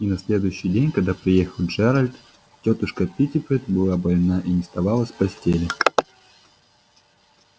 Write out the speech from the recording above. и на следующий день когда приехал джералд тётушка питтипэт была больна и не вставала с постели